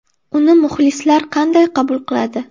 Uni muxlislar qanday qabul qiladi?